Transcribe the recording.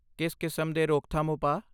ਕਿਸ ਕਿਸਮ ਦੇ ਰੋਕਥਾਮ ਉਪਾਅ?